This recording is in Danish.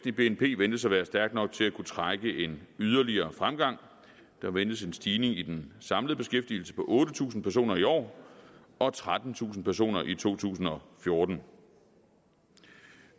i bnp ventes at være stærk nok til at kunne trække en yderligere fremgang der ventes en stigning i den samlede beskæftigelse på otte tusind personer i år og trettentusind personer i to tusind og fjorten